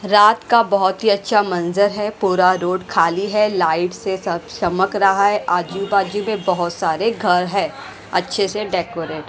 रात का बहुत ही अच्छा मंजर है पूरा रोड खाली है लाइट से सब चमक रहा है आजू बाजू में बहुत सारे घर है अच्छे से डेकोरेट --